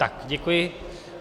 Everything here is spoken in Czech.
Tak, děkuji.